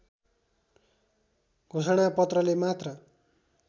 घोषणापत्रले मात्र